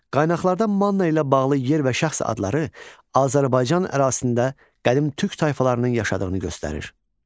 Qaynaqlarda Manna ilə bağlı yer və şəxs adları Azərbaycan ərazisində qədim türk tayfalarının yaşadığını göstərir.